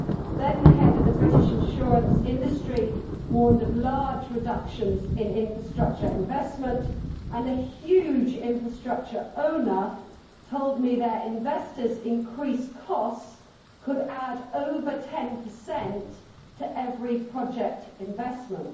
Then the head of the British insurance industry warned of large reductions in infrastructure investment, and a huge infrastructure owner told me their investors' increased costs could add over 10 to every project investment.